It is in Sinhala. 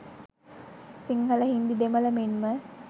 සිංහල හින්දි දෙමළ මෙන්ම